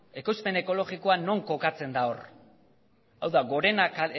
ekoizpen ekologikoa non kokatzen da hor hau da gorena